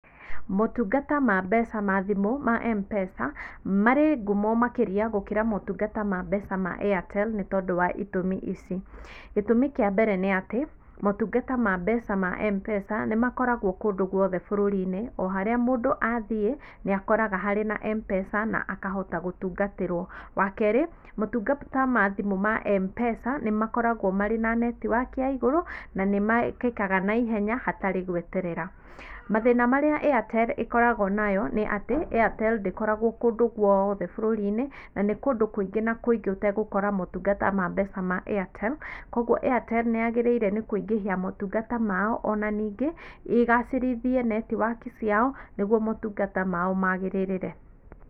Motungata ma mbeca ma thimũ ma M-Pesa, marĩ ngumo makĩria gũkĩra motungata ma mbeca ma Airtel nĩ tondũ wa itũmi ici, gĩtũmi kĩa mbere nĩ atĩ, motungata ma mbeca ma M-Pesa, nĩ makoragwo kũndũ guothe bũrũri-inĩ, o harĩa mũndũ athiĩ, nĩakoraga harĩ na M-Pesa, na akahota gũtungatĩrwo, wa kerĩ, motungata ma thimũ ma M-Pesa, nĩ makoragwo marĩ na netiwaki ya igũru na nĩ mekĩkaga na ihenya hatarĩ gweterera, Mathĩna marĩa Airtel ĩkoragwo nayo nĩ atĩ, Airtel ndĩkoragwo kũndũ guothe bũrũri-inĩ, na nĩ kũndũ kũingĩ na kũingĩ ũtagũkora motungata ma mbeca ma Airtel, koguo Airtel nĩ yagĩrĩire nĩ kũingĩhia motungata mao, o na ningĩ, ĩgacĩrithie netiwaki ciao nĩguo motungata mao magĩrĩrĩre.